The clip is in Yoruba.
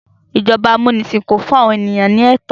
Ijọba amunisin kò fún àwọn ènìyàn ní ètò